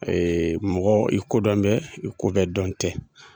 mɔgɔ i kodɔn bɛ i ko bɛɛ dɔn tɛ.